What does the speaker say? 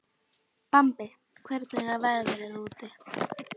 Bambi, hvernig er veðrið úti?